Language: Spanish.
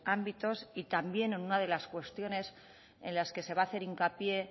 ámbitos y también en una de las cuestiones en las que se va a hacer hincapié